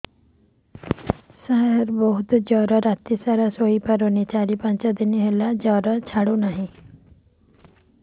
ସାର ବହୁତ ଜର ରାତି ସାରା ଶୋଇପାରୁନି ଚାରି ପାଞ୍ଚ ଦିନ ହେଲା ଜର ଛାଡ଼ୁ ନାହିଁ